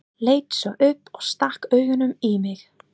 Leit svo upp og stakk augunum í mig.